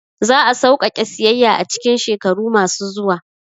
Za a sauƙaƙe siyayya a cikin shekaru masu zuwa